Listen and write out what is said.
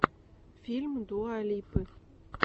фильм дуа липы